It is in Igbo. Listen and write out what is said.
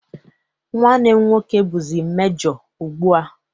Nwanne m nwoke bụzi mejo ugbu a.